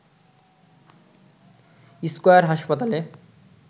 square হাসপাতালে